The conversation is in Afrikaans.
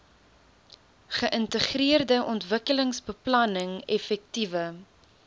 geïntegreerde ontwikkelingsbeplanning effektiewe